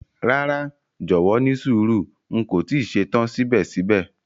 Rara, jọwọ nísùúrù, n ko ti ṣetan sibẹ̀sibẹ̀.